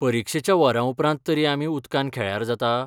परीक्षेच्या वरांउपरांत तरी आमी उदकान खेळ्यार जाता?